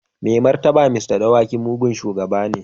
Mai martaba Mr. Dawaki mugun shugaba ne.